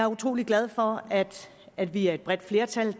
utrolig glad for at vi er et bredt flertal